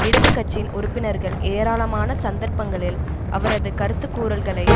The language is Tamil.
இடது கட்சியின் உறுப்பினர்கள் ஏராளமான சந்தர்ப்பங்களில் அவரது கருத்துக்கூறல்களை